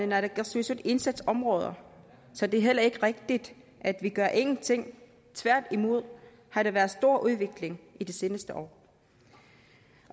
naalakkersuisut indsatsområder så det er heller ikke rigtigt at vi gør ingenting tværtimod har der været stor udvikling i de seneste år